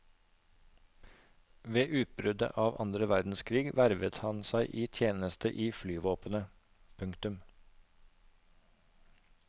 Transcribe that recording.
Ved utbruddet av andre verdenskrig vervet han seg til tjeneste i flyvåpenet. punktum